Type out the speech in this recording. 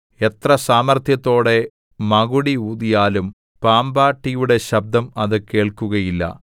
എത്ര സാമർത്ഥ്യത്തോടെ മകുടി ഊതിയാലും പാമ്പാട്ടിയുടെ ശബ്ദം അത് കേൾക്കുകയില്ല